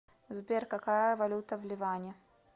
сбер какая валюта в ливане